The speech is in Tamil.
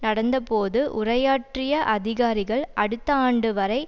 நடந்தபோது உரையாற்றிய அதிகாரிகள் அடுத்த ஆண்டு வரை